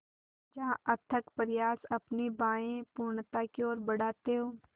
जहाँ अथक प्रयास अपनी बाहें पूर्णता की ओर बढातें हो